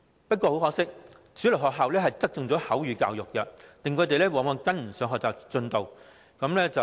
不過，很可惜，主流學校只側重口語教育，令他們往往跟不上學習進度。